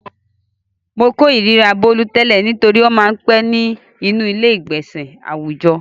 Mo kòríra Bólú tẹ́lẹ̀ nítorí ó máa ń pẹ́ nínú ilé-ìgbọnsẹ̀ àwùjọ.